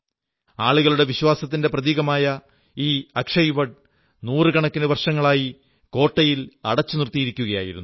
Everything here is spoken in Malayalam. ആളുകളുടെ വിശ്വാസത്തിന്റെ പ്രതീകമായ ഈ അക്ഷയവട് നൂറുകണക്കിന് വർഷങ്ങളായി കോട്ടയിൽ അടച്ചുനിർത്തിയിരിക്കയായിരുന്നു